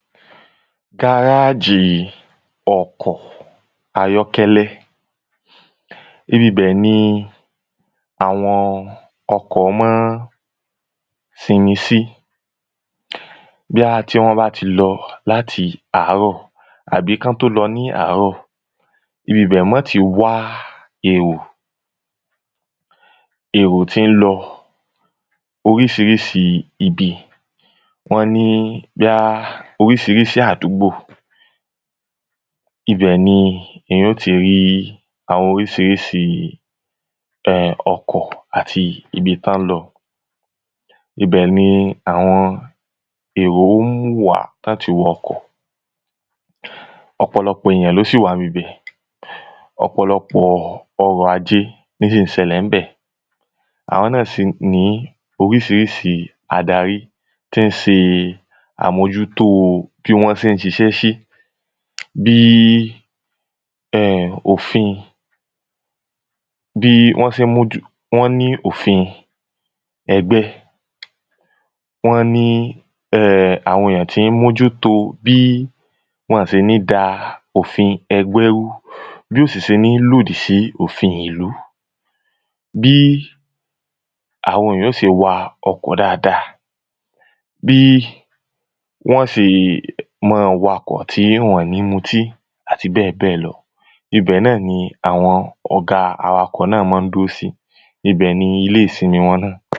Gárájì ọkọ̀ ayọ́kẹ́lẹ́ Ibi ibẹ̀ ni àwọn ọkọ̀ ma ń fi ẹni sí Bóya tí wọ́n bá ti lọ láti àárọ àbí kí wọn tó lọ ní àárọ̀ Ibi ibẹ̀ ni wọ́n óò ti wá èrò Èrò tí ń lọ oríṣiríṣi ibi wọ́n ní bóyá oríṣiríṣi àdúgbò Ibẹ̀ ni èyàn ó ti rí àwọn oríṣiríṣi ọkọ̀ àti ibi tí wọ́n ń lọ Ibẹ̀ ni àwọn èrò wà tí wọ́n óò ti wọ ọkọ̀ Ọ̀pọ̀lọpọ̀ èyàn ni ó sì wà ní ibi ibẹ̀ Ọ̀pọ̀lọpọ̀ ọrọ̀ajé ni ó sì ń ṣẹlè ní ibẹ̀ Àwọn náà sì ní oríṣiríṣi adarí tí ń ṣe àmójútó bí wọ́n ṣe ń ṣiṣẹ́ sí Bí um òfin bí wọ́n ṣe mójú wọ́n ní òfin ẹgbẹ́ Wọ́n ní um àwọn èyàn tí ń mójútó bí wọ́n ò ṣe ní da òfin ẹgbẹ́ rú Bí ò sì ṣe ní lòdì sí òfin ìlú Bí àwọn èyàn óò ṣe wa ọkọ̀ dáadáa Bí wọ́n óò ṣe máa wa ọkọ̀ tí wọn ò ní mu ọtí Ibẹ̀ náà ni àwọn ọ̀gá awakọ̀ náà ma ń dúró sí Ibẹ̀ ni ilé ìsimi wọn náà